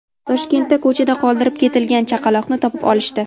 Toshkentda ko‘chada qoldirib ketilgan chaqaloqni topib olishdi.